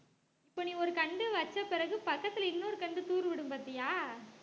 இப்ப நீ ஒரு கன்டு வச்ச பிறகு பக்கத்துல இன்னொரு கன்டு தூர்விடும் பார்த்தியா